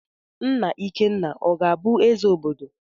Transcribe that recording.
Nna ikenna ọ ga abu eze obodo?